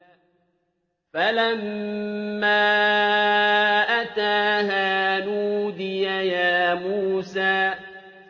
فَلَمَّا أَتَاهَا نُودِيَ يَا مُوسَىٰ